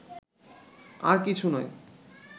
আর কিছু নয়